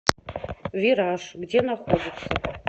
вираж где находится